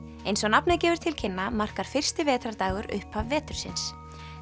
eins og nafnið gefur til kynna markar fyrsti vetrardagur upphaf vetursins